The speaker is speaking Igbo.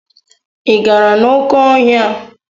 Ị gara n'oké ọhịa?